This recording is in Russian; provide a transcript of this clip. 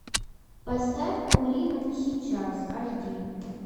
поставь умри но не сейчас аш ди